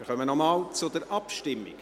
Wir kommen nochmals zur Abstimmung: